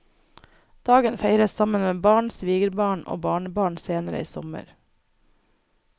Dagen feires sammen med barn, svigerbarn og barnebarn senere i sommer.